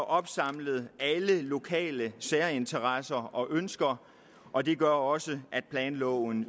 opsamlet alle lokale særinteresser og ønsker og det gør også at planloven